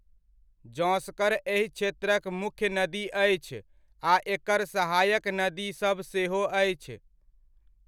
जँस्कर एहि क्षेत्रक मुख्य नदी अछि आ एकर सहायक नदीसभ सेहो अछि।